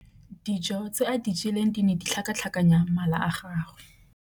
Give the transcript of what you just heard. Dijô tse a di jeleng di ne di tlhakatlhakanya mala a gagwe.